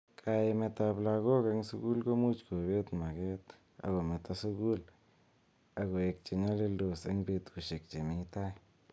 Kiaimet ab lakok eng sukul komuch kobet maket ak kometo sukul ak koek chenyalildos eng betushek chemi tai.